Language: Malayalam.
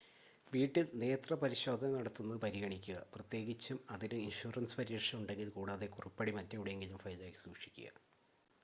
വീട്ടിൽ നേത്രപരിശോധന നടത്തുന്നത് പരിഗണിക്കുക പ്രത്യേകിച്ചും അതിന് ഇൻഷുറൻസ് പരിരക്ഷ ഉണ്ടെങ്കിൽ കൂടാതെ കുറിപ്പടി മറ്റെവിടെയെങ്കിലും ഫയലിലാക്കി സൂക്ഷിക്കുക